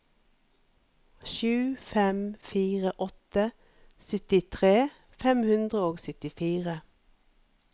sju fem fire åtte syttitre fem hundre og syttifire